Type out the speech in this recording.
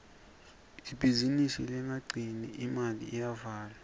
ibhizinisi lengakhiciti imali iyavalwa